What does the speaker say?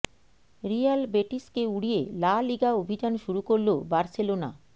Real বেটিসকে উড়িয়ে La Liga অভিযান শুরু করল বার্সেলোনা